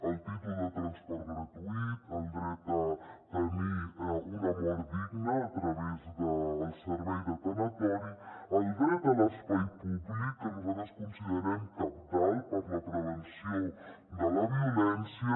el títol de transport gratuït el dret a tenir una mort digna a través del servei de tanatori el dret a l’espai públic que nosaltres considerem cabdal per a la prevenció de la violència